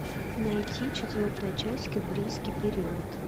найти четвертая часть кембрийский период